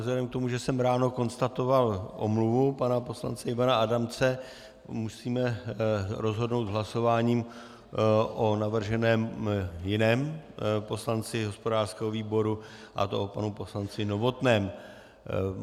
Vzhledem k tomu, že jsem ráno konstatoval omluvu pana poslance Ivana Adamce, musíme rozhodnout hlasováním o navrženém jiném poslanci hospodářského výboru, a to o panu poslanci Novotném.